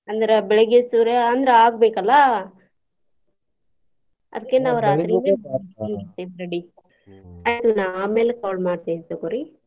ಅಂದ್ರ ಬೆಳಗ್ಗೆ ಸೂರ್ಯ ಅಂದ್ರ ಆಗ್ಬೇಕಲ್ಲಾ ಅದ್ಕೆ ನಾವ್ ರಾತ್ರಿನ ಮಾಡ್ಕೊಂಡ ಬಿಡ್ತೇವಿ ready ನಾ ಆಮ್ಯಾಲ call ಮಾಡ್ತೇನಿ ತುಗೋರಿ.